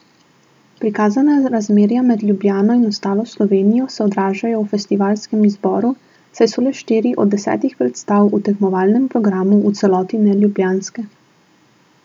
Prikazana razmerja med Ljubljano in ostalo Slovenijo se odražajo v festivalskem izboru, saj so le štiri od desetih predstav v tekmovalnem programu v celoti neljubljanske.